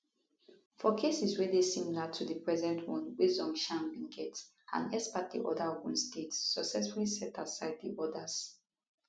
for cases wey dey similar to di present one wia zhongshan bin get an exparte order ogun state successfully set aside di orders